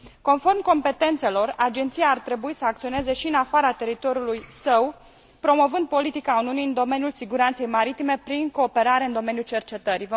Conform competențelor, Agenția ar trebui să acționeze și în afara teritoriului său, promovând politica Uniunii în domeniul siguranței maritime prin cooperarea în domeniul cercetării.